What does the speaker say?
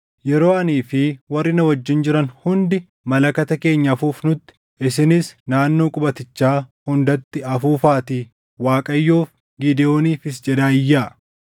Yeroo anii fi warri na wajjin jiran hundii malakata keenya afuufnutti, isinis naannoo qubatichaa hundatti afuufaatii, ‘ Waaqayyoof, Gidewooniifis’ jedhaa iyyaa.”